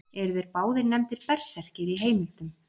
Eru þeir báðir nefndir berserkir í heimildum.